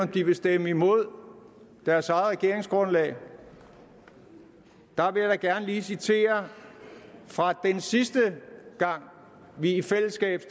de vil stemme imod deres eget regeringsgrundlag vil jeg gerne lige citere fra den sidste gang vi i fællesskab